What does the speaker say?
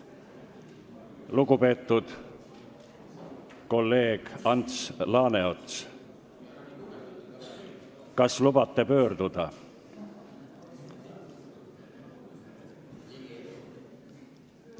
Lugupeetud kolleeg Ants Laaneots, kas lubate pöörduda?